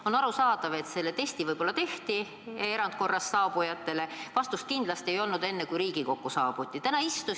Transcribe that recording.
On arusaadav, et see test erandkorras saabujatele võib-olla tehti, aga selle vastust enne Riigikokku saabumist veel kindlasti ei olnud.